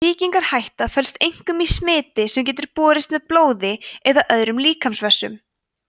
sýkingarhættan felst einkum í smiti sem getur borist með blóði eða öðrum líkamsvessum